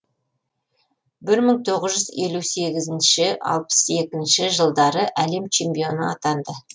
бір мың тоғыз жүз елу сегізінші алпыс екінші жылдары әлем чемпионы атанды